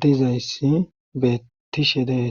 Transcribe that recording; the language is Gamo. dizayssi bettishe dees